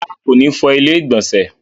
Rárá, kò ní fọ ilẹ́ ìgbọ̀nsẹ̀